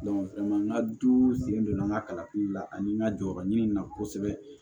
n ka du sen donna n ka kalan la ani n ka jɔyɔrɔ ɲini na kosɛbɛ